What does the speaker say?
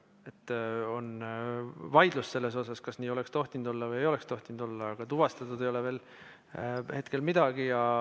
On vaidlus selle üle, kas nii oleks tohtinud olla või ei oleks tohtinud olla, aga tuvastatud ei ole hetkel veel midagi.